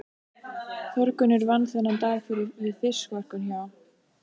Þórgunnur vann þennan dag við fiskverkun hjá